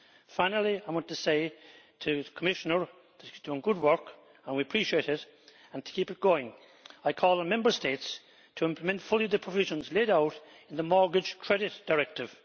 Finally, I want to say to the Commissioner that you are doing good work and we appreciate it, and to keep it going. I call on Member States to implement fully the provisions laid out in the Mortgage Credit Directive.